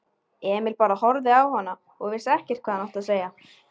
Emil bara horfði á hana og vissi ekkert hvað hann átti að segja.